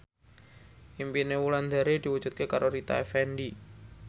impine Wulandari diwujudke karo Rita Effendy